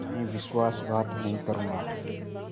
मैं विश्वासघात नहीं करूँगा